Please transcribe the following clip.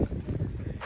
Çatdırdıq hamısını.